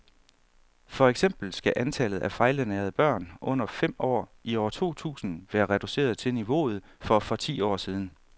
For eksempel skal antallet af fejlernærede børn under fem år i år to tusind være reduceret til niveauet for for ti år siden.